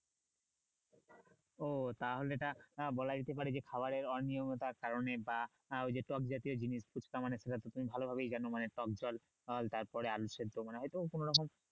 ও তাহলে এটা বলাই যেতে পারে যে খাবারে অনিয়মিয়তার কারণে বা আহ ওই যে টক জাতীয় জিনিস ফুচকা মানে খুব একটা তুমি তো ভালো ভাবেই জানো মানে টক জল আর তারপরে আলু সেদ্ধ মানে হয়তো কোন রকম